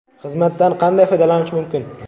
Xizmatdan qanday foydalanish mumkin?